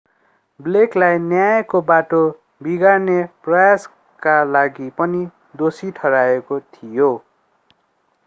blake लाई न्यायको बाटो बिगार्ने प्रयासका लागि पनि दोषी ठहराइएको थियो